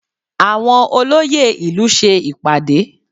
Àwọn olóyè ìlú ṣe ìpàdé